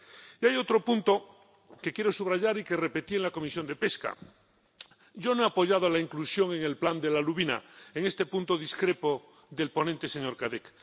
Y hay otro punto que quiero subrayar y que repetí en la Comisión de Pesca yo no he apoyado la inclusión en el Plan de la lubina. En este punto discrepo del ponente, señor Cadec.